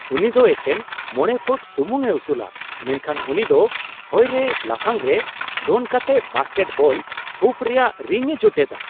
ᱩᱱᱤ ᱫᱚ ᱮᱠᱮᱱ ᱕ ᱯᱷᱩᱴ ᱥᱩᱢᱩᱝᱼᱮ ᱩᱥᱩᱞᱼᱟ ᱾ ᱢᱮᱱᱠᱷᱟᱱ ᱩᱱᱤ ᱫᱚ ᱦᱚᱭᱨᱮ ᱞᱟᱯᱷᱟᱝᱨᱮ ᱫᱚᱱ ᱠᱟᱛᱮᱫ ᱵᱟᱥᱠᱮᱴᱵᱚᱞ ᱦᱩᱯ ᱨᱮᱭᱟᱜ ᱨᱤᱝᱼᱮ ᱡᱚᱴᱮᱫᱼᱟ ᱾